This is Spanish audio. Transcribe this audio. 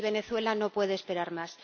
Y Venezuela no puede esperar más.